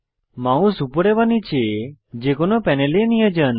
mouse উপরে বা নীচে যে কোনো একটি প্যানেলে নিয়ে যান